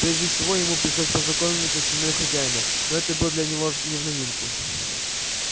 прежде всего ему пришлось познакомиться с семьёй хозяина но это было для него не в новинку